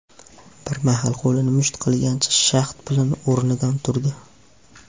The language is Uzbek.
Bir mahal qo‘lini musht qilgancha, shahd bilan o‘rnidan turdi.